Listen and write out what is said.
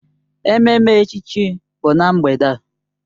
Ememme echichi bụ na mgbede a.